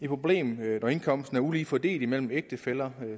problem når indkomsten er ulige fordelt imellem ægtefæller